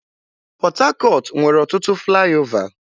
Port Harcourt nwere ọtụtụ flaịọvá.